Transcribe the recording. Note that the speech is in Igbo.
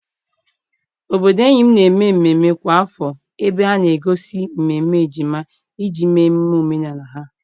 Obodo enyi m na-eme mmemme kwa afọ ebe ha na-egosi mmemme ejima iji mee emume omenala ha.